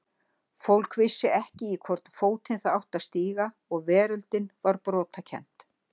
Fólk vissi ekki í hvorn fótinn það átti að stíga og veröldin var brotakennd.